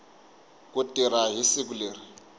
ku tirha hi siku leri